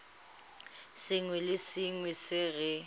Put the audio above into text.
sengwe le sengwe se re